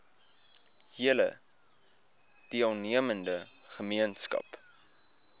hele deelnemende gemeenskap